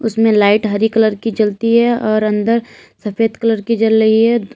इसमें लाइट हरी कलर की जलती है और अंदर सफेद कलर की जल रही है।